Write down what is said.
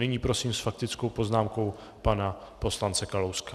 Nyní prosím s faktickou poznámkou pana poslance Kalouska.